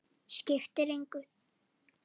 Skiptir engu!